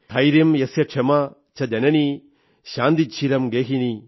ധൈര്യം യസ്യ ക്ഷമാ ച ജനനീ ശാന്തിശ്ചിരം ഗേഹിനീ